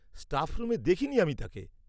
-Staff রুমে দেখিনি আমি তাকে।